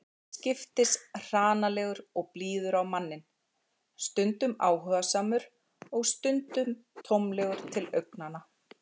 Til skiptis hranalegur og blíður á manninn, stundum áhugasamur og stundum tómlegur til augnanna.